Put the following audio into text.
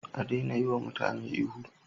A daina yi wa mutane ihu